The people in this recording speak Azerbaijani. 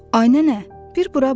Ay nənə, bir bura bax.